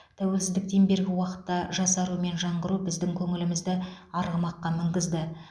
тәуелсіздіктен бергі уақытта жасару мен жаңғыру біздің көңілімізді арғымаққа мінгізді